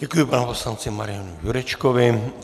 Děkuji panu poslanci Marianu Jurečkovi.